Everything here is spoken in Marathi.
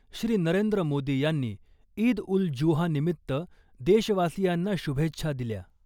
श्री . नरेंद्र मोदी यांनी ईद उल जुहा निमित्त देशवासीयांना शुभेच्छा दिल्या .